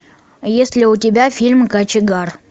есть ли у тебя фильм кочегар